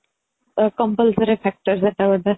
compulsory factor ସେଇଟା ଗୋଟେ